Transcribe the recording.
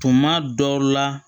Tuma dɔ la